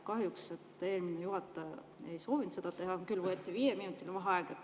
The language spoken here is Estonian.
Kahjuks eelmine juhataja ei soovinud seda teha, võeti vaid viieminutiline vaheaeg.